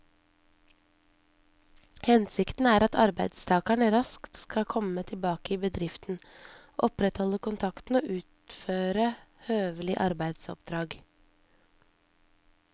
Hensikten er at arbeidstakeren raskt skal komme tilbake i bedriften, opprettholde kontakten og utføre høvelige arbeidsoppdrag.